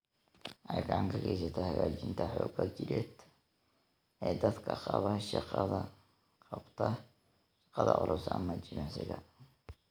Waxay gacan ka geysataa hagaajinta xoogga jireed ee dadka qaba shaqada culus ama jimicsiga.